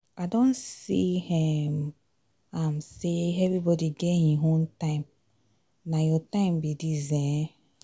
i don see um am sey everybodi get im own time na your time be dis. um